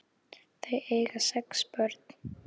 Þau eiga sex börn.